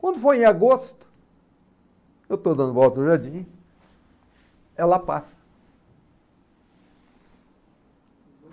Quando foi em agosto, eu estou dando volta no jardim, ela passa.